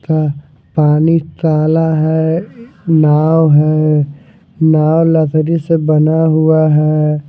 का पानी काला है नाव है नाव लकड़ी से बना हुआ है।